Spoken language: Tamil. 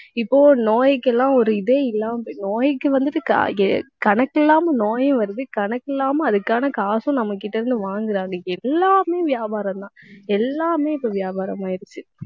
இப்போ நோய்க்கு எல்லாம் ஒரு இதே இல்லாம நோய்க்கு வந்துட்டு, க~ கணக்கு இல்லாமல் நோயும் வருது. கணக்கு இல்லாம அதுக்கான காசும் நம்ம கிட்ட இருந்து வாங்கறாங்க எல்லாமே வியாபாரம்தான். எல்லாமே இப்ப வியாபாரம் ஆயிடுச்சு